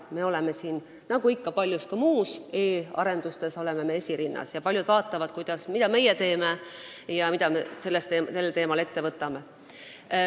Me oleme sellega nagu paljude muudegi e-arendustega esirinnas ja paljud vaatavad, mida meie teeme ja mida me sellel teemal ette võtame.